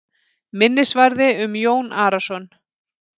Minnisvarði um Jón Arason.